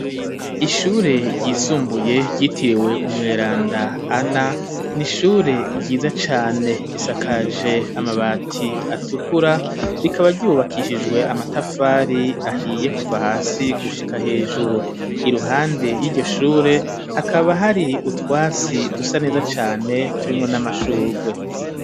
Ishure ryisumbuye ryitiriwe umweranda ana n'ishure ryiza cane risakaje amabati atukura rikaba ryubakishijwe amatafari ahiye kuva hasi gushika hejuru iruhande yiryo shure hakaba hari utwatsi dusa neza cane turimwo n'amashurwe